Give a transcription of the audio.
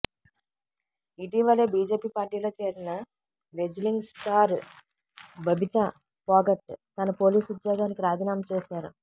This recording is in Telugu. ఇటీవలే బిజెపి పార్టీలో చేరిన రెజ్లింగ్ స్టార్ బబితా పోగట్ తన పోలీస్ ఉద్యోగానికి రాాజీనామా చేశారు